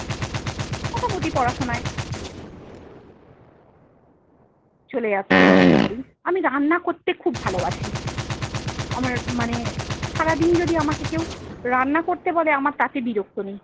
মোটামুটি পড়াশোনায়। চলে যাচ্ছে এরকম করেই। আমি রান্না করতে খুব ভালোবাসি। আমার মানে সারাদিন যদি আমাকে কেও রান্না করতে বলে আমার তাতে বিরক্ত নেই।